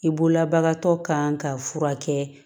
I bolola bagantɔ kan ka furakɛ